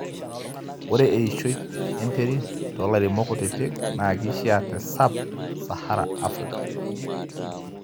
ore eishoi enterit too lairemok kutitik naa keisiia te sab saharan Africa